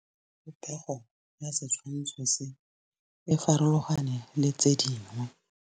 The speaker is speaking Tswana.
Popêgo ya setshwantshô se, e farologane le tse dingwe.